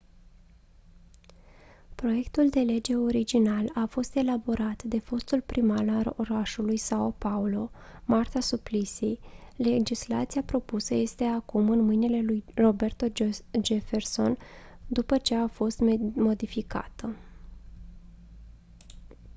proiectul de lege original a fost elaborat de fostul primar al orașului são paulo marta suplicy. legislația propusă este acum în mâinile lui roberto jefferson după ce a fost modificată